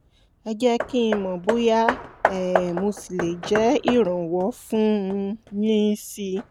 ẹ jẹ́ kí n mọ̀ bóyá um mo ṣì le jẹ́ ìrànwọ́ fún un yín síi